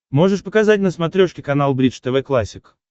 можешь показать на смотрешке канал бридж тв классик